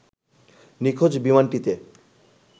নিখোঁজ বিমানটিতে